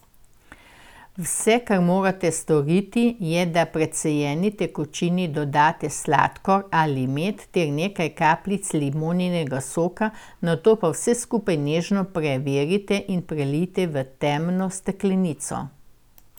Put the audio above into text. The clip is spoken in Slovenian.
Vse, kar morate storiti, je, da precejeni tekočini dodate sladkor ali med ter nekaj kapljic limoninega soka, nato pa vse skupaj nežno prevrite in prelijte v temno steklenico.